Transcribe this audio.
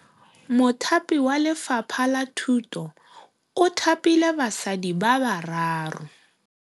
Mothapi wa Lefapha la Thutô o thapile basadi ba ba raro.